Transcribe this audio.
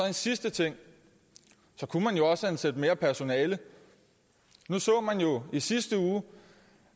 en sidste ting kunne man også ansætte mere personale nu så man jo i sidste uge